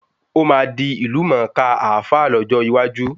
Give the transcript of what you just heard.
Ó máa di ìlú mọ kaa Alfa lọ́jọ́ iwájú